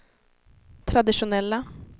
traditionella